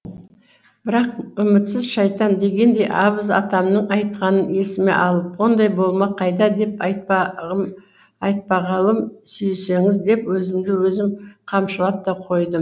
бірақ үмітсіз шайтан дегендей абыз атамның айтқанын есіме алып ондай болмақ қайда деп айтпа ғылым сүйсеңіз деп өзімді өзім қамшылап та қойдым